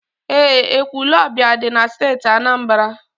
Eé, Ekwulọọbịa dị na Steeti Anambra.